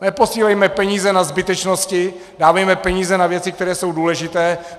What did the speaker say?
Neposílejme peníze na zbytečnosti, dávejme peníze na věci, které jsou důležité.